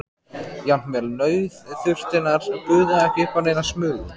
Jafnvel nauðþurftirnar buðu ekki upp á neina smugu.